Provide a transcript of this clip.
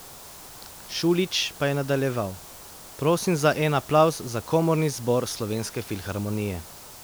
Šulić pa je nadaljeval: 'Prosim za en aplavz za komorni zbor Slovenske filharmonije.